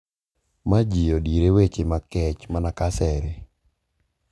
Ma ji odire weche makech mana ka asere.